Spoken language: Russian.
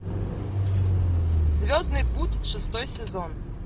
звездный путь шестой сезон